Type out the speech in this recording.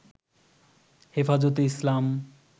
হেফাজতে ইসলাম